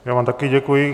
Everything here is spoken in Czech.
Já vám taky děkuji.